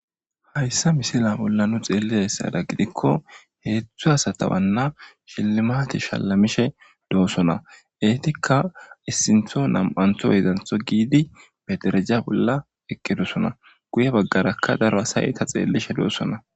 hayssa misila bolla nu xeellizayssada gidikko heedzdzu asatawanna shelimate shalamishe doossona eetikka issintho nam7antho yedantho giidi be dereja bolla eqqedosona guye baggarakka daro asaye eta xeellishe doossona